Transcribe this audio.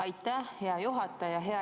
Aitäh, hea juhataja!